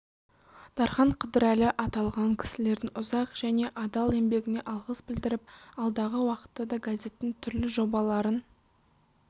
дархан қыдырәлі аталған кісілердің ұзақ жне адал еңбегіне алғыс білдіріп алдағы уақытта да газеттің түрлі жобаларын